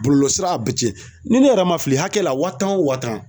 Bɔlɔlɔsira a bɛ cɛ ni ne yɛrɛ ma fili hakɛ la wa tan o wa tan